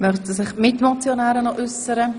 Möchten sich die Mitmotionärinnen noch äussern?